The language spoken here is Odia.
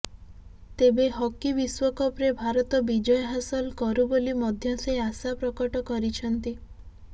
ତେବେ ହକି ବିଶ୍ୱକପରେ ଭାରତ ବିଜୟ ହାସଲ କରୁ ବୋଲି ମଧ୍ୟ ସେ ଆଶା ପ୍ରକଟ କରିଛନ୍ତି